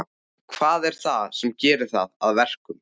Hvað er það sem gerir það að verkum?